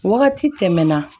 Wagati tɛmɛna